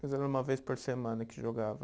Mas era uma vez por semana que jogava?